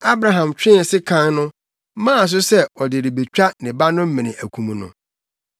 Abraham twee sekan no, maa so sɛ ɔde rebetwa ne ba no mene akum no.